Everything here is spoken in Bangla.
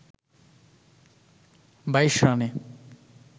২২ রানে